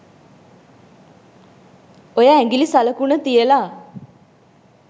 ඔය ඇඟිලි සලකුණ තියලා